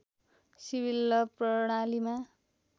civil law प्रणालिमा